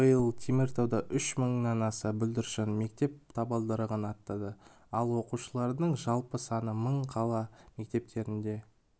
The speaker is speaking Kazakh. биыл теміртауда үш мыңнан аса бүлдіршін мектеп табалдырығын аттады ал оқушылардың жалпы саны мың қала мектептерінде